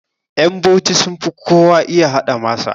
Ƴan bauchi sunfi kowa iya haɗa masa